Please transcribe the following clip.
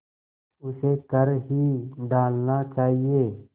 उसे कर ही डालना चाहिए